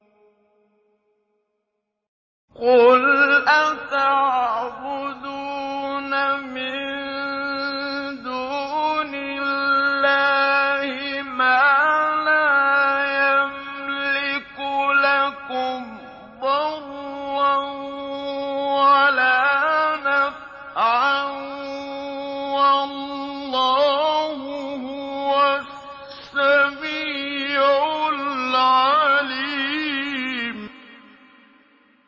قُلْ أَتَعْبُدُونَ مِن دُونِ اللَّهِ مَا لَا يَمْلِكُ لَكُمْ ضَرًّا وَلَا نَفْعًا ۚ وَاللَّهُ هُوَ السَّمِيعُ الْعَلِيمُ